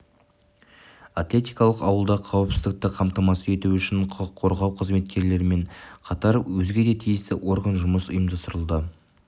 атлетикалық ауылда қауіпсіздікті қамтамасыз ету үшін құқық қорғау қызметкерлерімен қатар өзге де тиісті орган жұмысы ұйымдастырылды